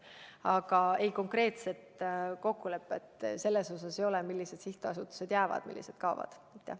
Aga konkreetset kokkulepet selle kohta, millised sihtasutused jäävad ja millised kaovad, ei ole.